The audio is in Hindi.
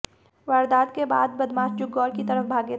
वारदात के बाद बदमाश जुग्गौर की तरफ भागे थे